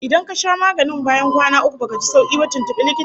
Idan ka sha maganin bayan kwana uku baka ji sauki ba, tuntubi likitan ka